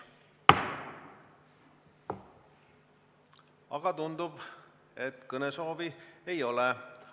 Aga tundub, et kõnesoove ei ole.